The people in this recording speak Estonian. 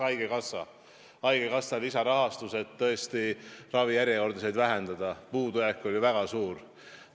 Näiteks haigekassa lisarahastus, et ravijärjekordasid tõesti vähendada – puudujääk oli väga suur.